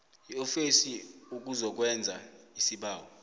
iofisi ukuzokwenza isibawo